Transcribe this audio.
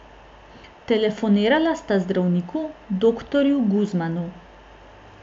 Telefonirala sta zdravniku, doktorju Guzmanu.